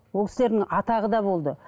ол кісілердің атағы да болды